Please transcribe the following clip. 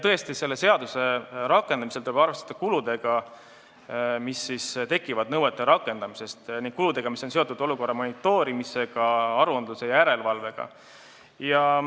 Tõesti, selle seaduse rakendamisel tuleb arvestada kuludega, mis tekivad nõuete rakendamisel, nende kuludega, mis on seotud olukorra monitoorimisega ning aruandluse ja järelevalvega.